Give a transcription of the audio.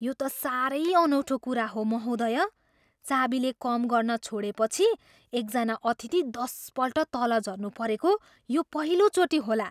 यो त साह्रै अनौठो कुरा हो, महोदया। चाबीले कम गर्न छोडेपछि एकजना अतिथि दसपल्ट तल झर्नु परेको यो पहिलोचोटि होला।